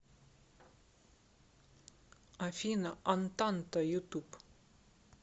афина антанта ютуб